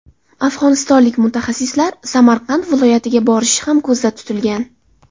Afg‘onistonlik mutaxassislar Samarqand viloyatiga borishi ham ko‘zda tutilgan.